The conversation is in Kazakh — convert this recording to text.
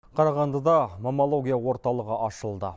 қарағандыда мамология орталығы ашылды